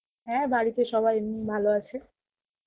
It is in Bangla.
হ্যাঁ বাড়িতে সবাই এমনি ভালো আছে.